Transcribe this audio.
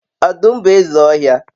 odum bu eze ohia